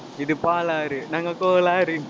இது பாலாறு நாங்க கோளாறு